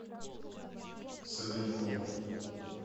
савенкова